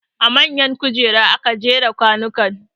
A man kujera aka jera kwanukan